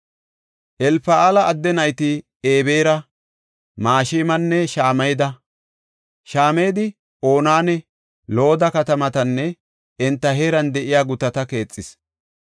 Elfa7aala adde nayti Ebeera, Mashemanne Shameda. Shamedi Ononne Looda katamatanne enta heeran de7iya gutata keexis.